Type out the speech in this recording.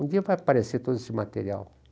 Um dia vai aparecer todo esse material.